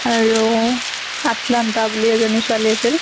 আৰু সাত্লান্তা বুলি এজনী ছোৱালী আছিল